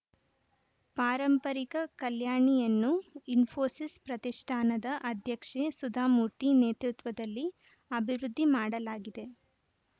ಪಾರಂಪರಿಕ ಕಲ್ಯಾಣಿಯನ್ನು ಇಸ್ಫೋಸಿಸ್‌ ಪ್ರತಿಷ್ಠಾನದ ಅಧ್ಯಕ್ಷೆ ಸುಧಾಮೂರ್ತಿ ನೇತೃತ್ವದಲ್ಲಿ ಅಭಿವೃದ್ಧಿ ಮಾಡಲಾಗಿದೆ